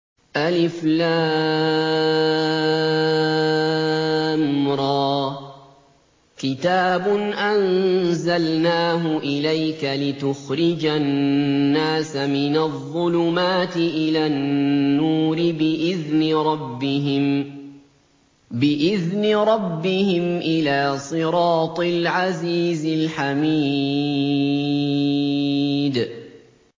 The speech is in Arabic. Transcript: الر ۚ كِتَابٌ أَنزَلْنَاهُ إِلَيْكَ لِتُخْرِجَ النَّاسَ مِنَ الظُّلُمَاتِ إِلَى النُّورِ بِإِذْنِ رَبِّهِمْ إِلَىٰ صِرَاطِ الْعَزِيزِ الْحَمِيدِ